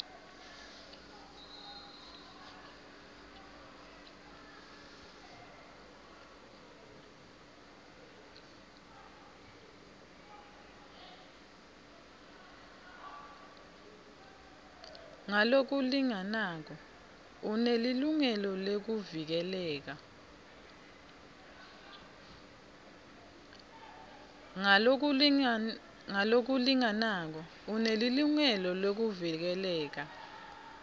ngalokulinganako unelilungelo lekuvikeleka